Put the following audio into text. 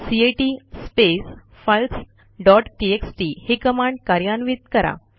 cat space files dot TXT ही command कार्यान्वित करा